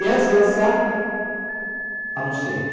E antes de lançar, anunciei.